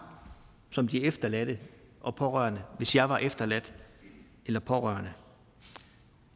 som de efterladte og pårørende hvis jeg var efterladt eller pårørende